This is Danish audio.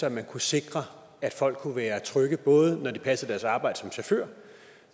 at man kunne sikre at folk kunne være trygge både når de passede deres arbejde som chauffør